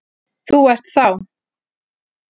Þú ert þá?